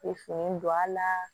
E fini don a la